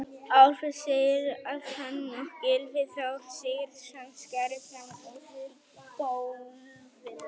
Alfreð segir að hann og Gylfi Þór Sigurðsson skari fram úr í golfinu.